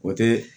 O tɛ